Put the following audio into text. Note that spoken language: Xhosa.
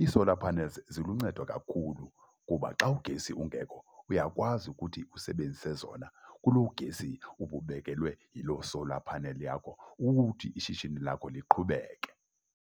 Ii-solar panels ziluncedo kakhulu kuba xa ugesi ungekho uyakwazi ukuthi usebenzise zona kuloo gesi ububekelwe loo solar panel yakho ukuthi ishishini lakho liqhubeke.